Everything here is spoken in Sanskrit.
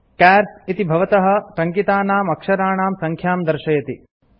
चार्स् - इति भवता टङ्कितनां अक्षराणां सङ्ख्यां दर्शयति